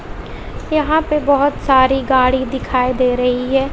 यहां पे बहोत सारी गाड़ी दिखाई दे रही है।